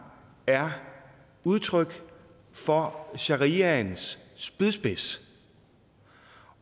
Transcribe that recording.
er udtryk for shariaens spydspids